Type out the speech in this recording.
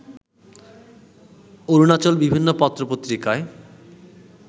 অরুণাচল বিভিন্ন পত্র পত্রিকায়